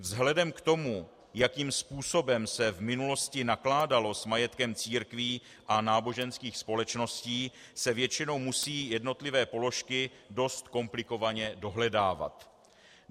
Vzhledem k tomu, jakým způsobem se v minulosti nakládalo s majetkem církví a náboženských společností, se většinou musí jednotlivé položky dost komplikovaně dohledávat.